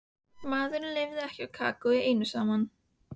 Maðurinn lifir ekki á kakói einu saman.